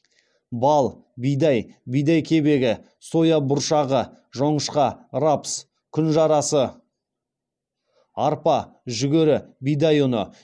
бал бидай бидай кебегі соя бұршағы жоңышқа рапс күнжарасы арпа жүгері бидай ұны